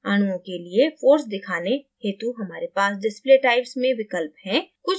अणुओं के लिए force दिखाने हेतु हमारे पास display types में विकल्प हैं